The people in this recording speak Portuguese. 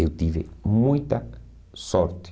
Eu tive muita sorte.